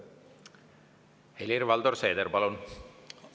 Helir-Valdor Seeder, palun!